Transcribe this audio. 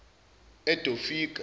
edofika